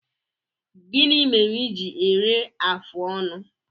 Gịnị mere i ji eru afụ ọnụ?